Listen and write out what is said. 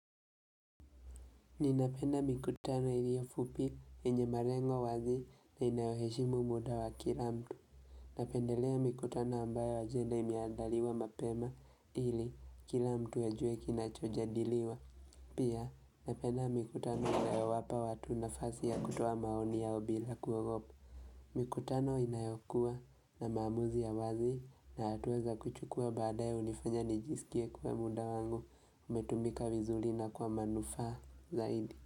Ninapenda mikutano ili yo fupi yenye malengo wazi na inayoheshimu muda wa kila mtu. Napendelea mikutano ambayo ajenda imeandaliwa mapema ili kila mtu ajue kinachoja diliwa. Pia napenda mikutano inayowapa watu na fasi ya kutoa maoni yao bila kuogopa. Mikutano inayokuwa na maamuzi ya wazi na hatuweza kuchukua baada ya unifanya nijisikie kwa muda wangu umetumika vizuri na kwa manufaa zaidi.